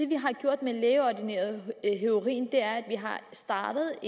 vi har gjort med lægeordineret heroin er at vi har startet